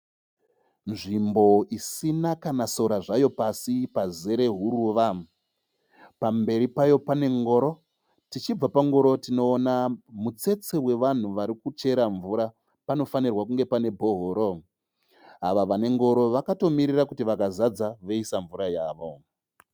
Nzvimbo isina kana sora zvayo pasi pazere huruva. Pamberi payo pane ngoro, tichibva pangoro tinoona mutsetse wevanhu varikuchera mvura. Panofanirwa kunge pane bhohoro. Ava vanengoro vakatomirira kuti vakazadza voisa mvura yavo.